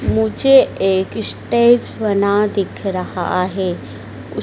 मुझे एक स्टेज बना दिख रहा है उस--